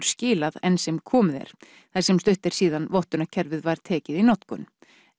skilar enn sem komið er þar sem stutt er síðan vottunarkerfið var tekið í notkun